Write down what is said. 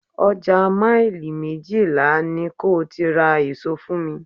Ọjà maili méjìlá ni ko ti ra èso fún mi.